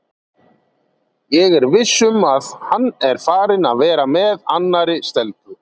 Ég er viss um að hann er farinn að vera með annarri stelpu.